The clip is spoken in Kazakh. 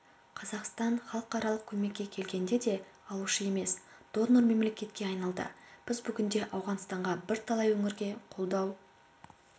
қазақстан халықаралық көмекке келгенде де алушы емес донор мемлекетке айналды біз бүгінде ауғанстанға бірталай өңірге қолдау